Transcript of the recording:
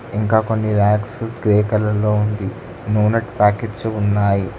ఇంకా కొన్ని racks grey colour లో ఉంది నూనె ప్యాకెట్స్ ఉన్నాయి.